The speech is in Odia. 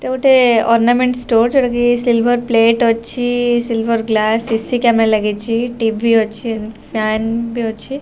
ଏଇଟା ଗୋଟେ ଅରନାମେନ୍ଟ ଷ୍ଟୋର ଯଉଠିକି ସିଲଭର ପ୍ଲେଟ ଅଛି ସିଲଭର ଗ୍ଳାସ ଏସି କ୍ୟାମେରା ଲାଗିଛି ଟିଭି ଅଛି ଫ୍ଯନ ବି ଅଛି।